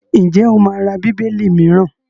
Ǹjẹ́ o máa ra Bíbélì mìíràn?